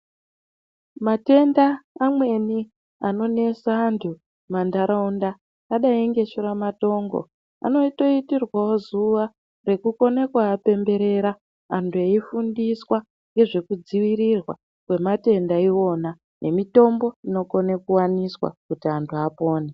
Matenda pamweni anonesa antu mumantaraunda akadai ngedhura matongo anotoitirwawo zuwa rekukone kuapemberera anyu eifundiswa ngezvekudziirirwa kwematenda iwona nemitombo inokone kuwaniswa kuti antu apone.